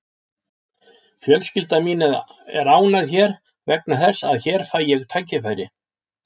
Fjölskylda mín er ánægð hér vegna þess að hér fæ ég tækifæri.